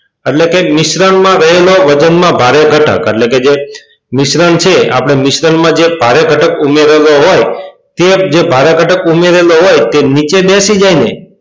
એટલે કે મિશ્રણમાં રહેલો વજનમાં ભારે ઘટક એટલે કે જે મિશ્રણ છે આપણે મિશ્રણમાં જે ભારે ઘટક ઉમેરેલો હોય તે જે ભારે ઘટક ઉમેરેલો હોય તે નીચે બેસી જાય ને!